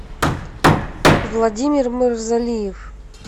владимир мавзолиев